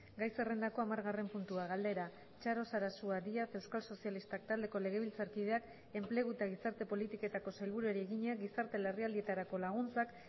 gai zerrendako hamargarren puntua galdera txaro sarasua díaz euskal sozialistak taldeko legebiltzarkideak enplegu eta gizarte politiketako sailburuari egina gizarte larrialdietarako laguntzak